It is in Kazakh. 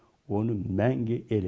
оны мәңгі ел